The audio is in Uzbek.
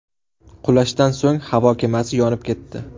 Qulashdan so‘ng havo kemasi yonib ketdi.